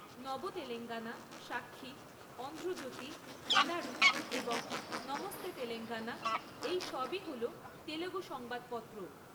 নব তেলেঙ্গানা, সাক্ষী, অন্ধ্র জ্যোতি, এনাড়ু এবং নমস্তে তেলেঙ্গানা, এই সবই হল তেলুগু সংবাদপত্র।